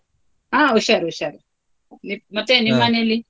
ಹ ಹುಷಾರು ಹುಷಾರು ಮತ್ತೆ .